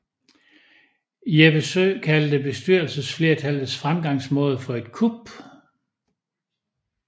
Jeppe Søe kaldte bestyrelsesflertallets fremgangsmåde for et kup